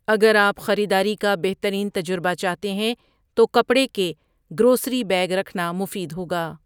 اگر آپ خریداری کا بہترین تجربہ چاہتے ہیں تو کپڑے کے گروسری بیگ رکھنا مفید ہوگا۔